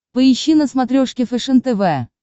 поищи на смотрешке фэшен тв